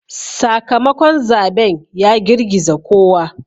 Sakamakon zaben ya girgiza kowa.